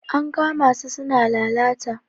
an kama su suna laalta